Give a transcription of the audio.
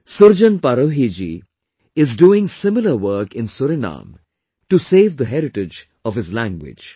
Surjan Parohi ji is doing similar work in Suriname to save the heritage of his language